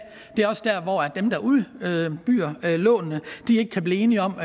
det er også der hvor dem der udbyder lånene ikke kan blive enige om